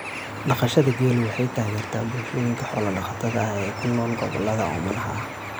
Dhaqashada geelu waxay taageertaa bulshooyinka xoolo-dhaqatada ah ee ku nool gobollada oomanaha ah.